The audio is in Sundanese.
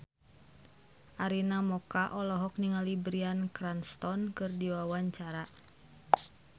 Arina Mocca olohok ningali Bryan Cranston keur diwawancara